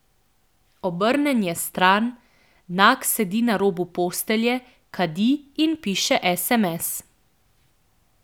Obrnjen je stran, nag sedi na robu postelje, kadi in piše sms.